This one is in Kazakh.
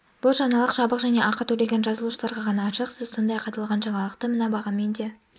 бұл жаңалық жабық және ақы төлеген жазылушыларға ғана ашық сіз сондай-ақ аталған жаңалықты мына бағамен де